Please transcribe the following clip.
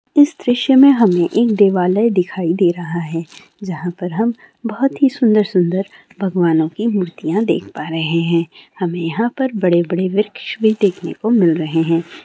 इस दृश्य में हमें एक देवालय दिखाई दे रहा है जहाँ पर हम बहुत ही सुंदर-सुंदर भगवानों कि मुर्तीयाँ देख पा रहें हैं। हमें यहाँ पर बडे़-बडे़ वृक्ष भी देखने को मिल रहें हैं।